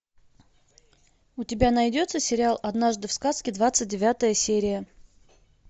у тебя найдется сериал однажды в сказке двадцать девятая серия